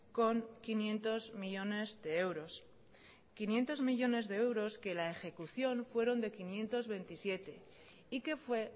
con quinientos millónes de euros quinientos millónes de euros que la ejecución fueron de quinientos veintisiete y que fue